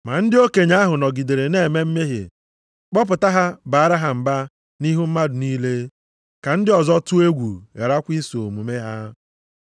Ma ndị okenye ahụ nọgidere na-eme mmehie, kpọpụta ha baara ha mba nʼihu mmadụ niile, ka ndị ọzọ tụọ egwu gharakwa iso omume ha.